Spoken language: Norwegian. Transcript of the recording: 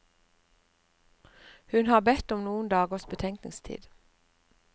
Hun har bedt om noen dagers betenkningstid.